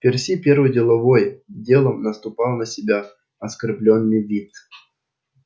перси первый деловой делом напустил на себя оскорблённый вид